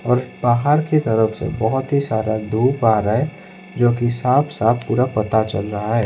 और बाहर की तरफ से बहुत ही सारा धूप आ रहा है जो कि साफ साफ पूरा पता चल रहा है।